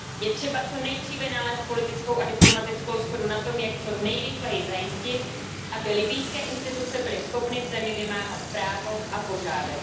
Je třeba co nejdříve nalézt politickou a diplomatickou shodu na tom, jak co nejrychleji zajistit, aby libyjské instituce byly schopny v zemi vymáhat právo a pořádek.